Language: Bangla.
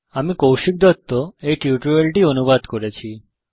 আমি কৌশিক দত্ত এই টিউটোরিয়াল টি অনুবাদ করেছি